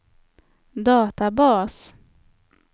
databas